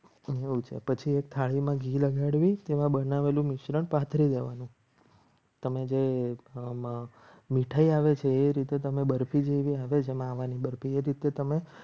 પછી એક થાળીમાં ઘી લગાડવી તેવા બનાવેલું મિશ્રણ પાથરી દેવાનું તમે જે મીઠાઈ આવે છે. એ રીતે તમે બરફી જેવી હવે જમવાની હતી તે તમે